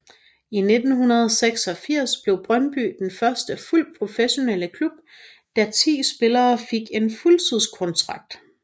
I 1986 blev Brøndby den første fuldt professionelle danske klub da ti spillere fik en fuldtidskontrakt